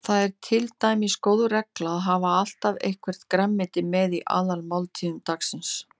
Það er til dæmis góð regla að hafa alltaf eitthvert grænmeti með í aðalmáltíðum dagsins.